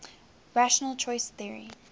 rational choice theory